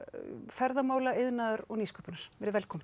ferðamála iðnaðar og nýsköpunar velkomin